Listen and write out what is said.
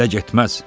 Belə getməz.